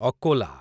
Akola